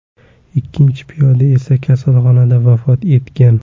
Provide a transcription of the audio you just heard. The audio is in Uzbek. Ikkinchi piyoda esa kasalxonada vafot etgan.